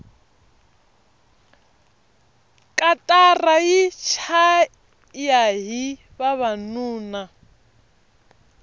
katara yi chayahi vavanuna